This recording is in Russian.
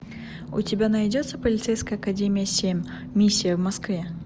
у тебя найдется полицейская академия семь миссия в москве